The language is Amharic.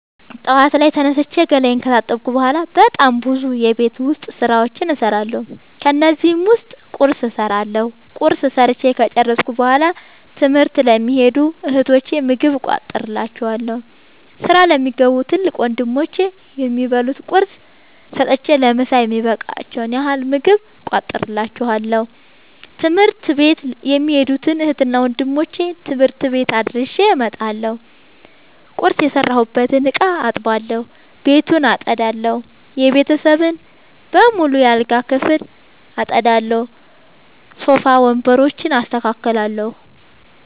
ጠዋት ላይ ተነስቼ ገላየን ከታጠብኩ በሗላ በጣም ብዙ የቤት ዉስጥ ስራዎችን እሠራለሁ። ከነዚህም ዉስጥ ቁርስ እሠራለሁ። ቁርስ ሠርቸ ከጨረሥኩ በሗላ ትምህርት ለሚኸዱ እህቶቸ ምግብ እቋጥርላቸዋለሁ። ስራ ለሚገቡ ትልቅ ወንድሞቼም የሚበሉት ቁርስ ሰጥቸ ለምሣ የሚበቃቸዉን ያህል ምግብ እቋጥርላቸዋለሁ። ትምህርት ቤት የሚኸዱትን እህትና ወንድሞቼ ትምህርት ቤት አድርሼ እመጣለሁ። ቁርስ የሰራሁበትን እቃ አጥባለሁ። ቤቱን አጠዳለሁ። የቤተሰቡን በሙሉ የአልጋ ክፍል አጠዳለሁ። ሶፋ ወንበሮችን አስተካክላለሁ።